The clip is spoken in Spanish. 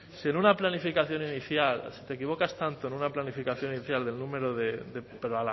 sin en una planificación inicial si te equivocas tanto en una planificación inicial del número de pero